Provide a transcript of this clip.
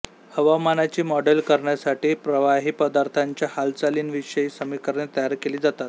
हवामानाची मॉडेल करण्यासाठी प्रवाही पदार्थाच्या हालचालींविषयी समीकरणे तयार केली जातात